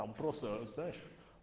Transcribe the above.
там просто знаешь